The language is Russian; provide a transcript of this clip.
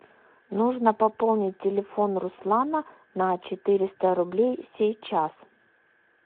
нужно пополнить телефон руслана на четыреста рублей сейчас